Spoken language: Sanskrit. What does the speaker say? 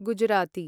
गुजराती